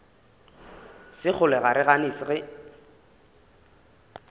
sekgole ga re gane ge